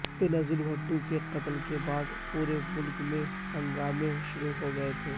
بینظیر بھٹو کے قتل کے بعد پورے ملک میں ہنگامے شروع ہو گئے تھے